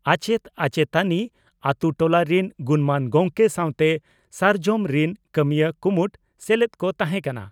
ᱟᱪᱮᱛ ᱟᱪᱮᱛᱟᱱᱤ ᱟᱹᱛᱩ ᱴᱚᱞᱟ ᱨᱤᱱ ᱜᱩᱱᱢᱟᱱ ᱜᱚᱢᱠᱮ ᱥᱟᱣᱛᱮ 'ᱥᱟᱨᱡᱚᱢ' ᱨᱤᱱ ᱠᱟᱹᱢᱤᱭᱟᱹ ᱠᱩᱢᱩᱴ ᱥᱮᱞᱮᱫ ᱠᱚ ᱛᱟᱦᱮᱸ ᱠᱟᱱᱟ ᱾